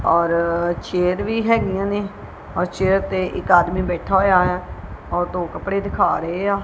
ਔਰ ਚੇਅਰ ਵੀ ਹੇਗੀਆਂ ਨੇਂ ਔਰ ਚੇਅਰ ਤੇ ਇੱਕ ਆਦਮੀ ਬੈਠਾ ਹੋਇਆ ਐ ਔ ਟੋ ਕੱਪੜੇ ਦਿਖਾ ਰਹੇ ਆ।